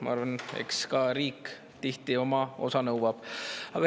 Ma arvan, et eks riik tihti ka nõuab oma osa.